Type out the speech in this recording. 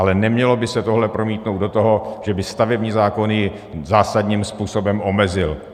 Ale nemělo by se tohle promítnout do toho, že by stavební zákony zásadním způsobem omezil.